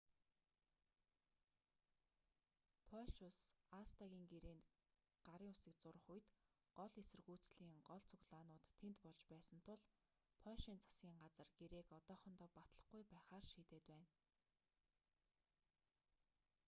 польш улс аста-н гэрээнд гарын үсэг зурах үед гол эсэргүүцлийн гол цуглаанууд тэнд болж байсан тул польшийн засгийн газар гэрээг одоохондоо батлахгүй байхаар шийдээд байна